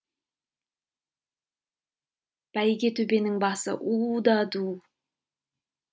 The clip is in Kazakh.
бәйге төбенің басы у да ду